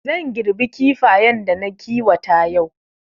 Zan girbi Kifayen da na kiwata yau